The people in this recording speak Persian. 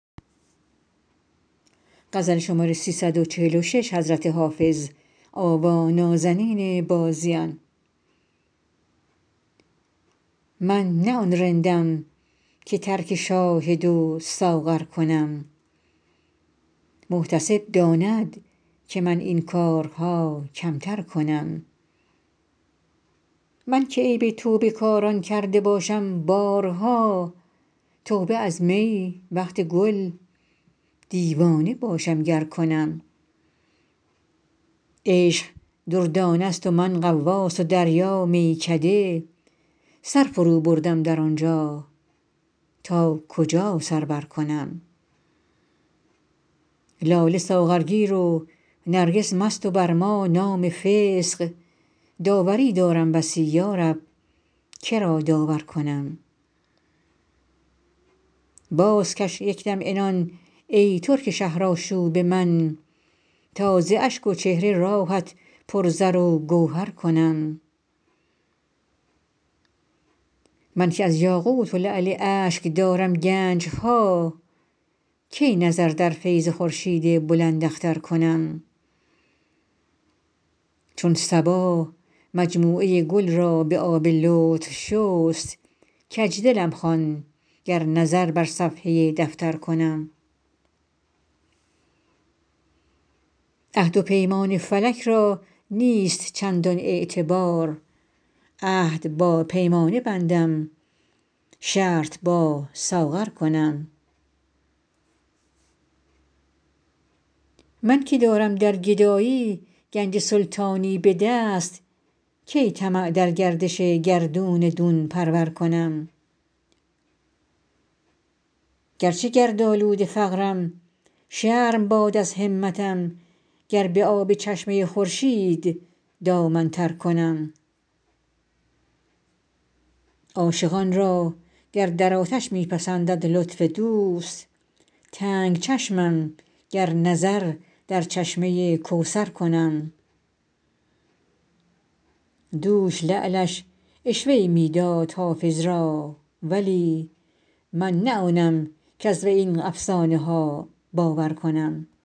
من نه آن رندم که ترک شاهد و ساغر کنم محتسب داند که من این کارها کمتر کنم من که عیب توبه کاران کرده باشم بارها توبه از می وقت گل دیوانه باشم گر کنم عشق دردانه ست و من غواص و دریا میکده سر فروبردم در آن جا تا کجا سر برکنم لاله ساغرگیر و نرگس مست و بر ما نام فسق داوری دارم بسی یا رب که را داور کنم بازکش یک دم عنان ای ترک شهرآشوب من تا ز اشک و چهره راهت پر زر و گوهر کنم من که از یاقوت و لعل اشک دارم گنج ها کی نظر در فیض خورشید بلنداختر کنم چون صبا مجموعه گل را به آب لطف شست کج دلم خوان گر نظر بر صفحه دفتر کنم عهد و پیمان فلک را نیست چندان اعتبار عهد با پیمانه بندم شرط با ساغر کنم من که دارم در گدایی گنج سلطانی به دست کی طمع در گردش گردون دون پرور کنم گر چه گردآلود فقرم شرم باد از همتم گر به آب چشمه خورشید دامن تر کنم عاشقان را گر در آتش می پسندد لطف دوست تنگ چشمم گر نظر در چشمه کوثر کنم دوش لعلش عشوه ای می داد حافظ را ولی من نه آنم کز وی این افسانه ها باور کنم